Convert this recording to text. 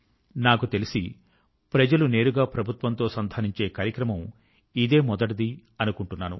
నాకు తెలిసి ప్రజలు నేరుగా ప్రభుత్వం తో సంధానించే కార్యక్రమం ఇదే మొదటిది అనుకుంటున్నాను